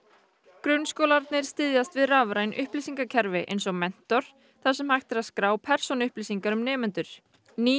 grunnskólarnir styðjast við rafræn upplýsingakerfi eins og Mentor þar sem hægt er að skrá persónuupplýsingar um nemendur ný